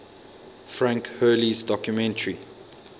frank hurley's documentary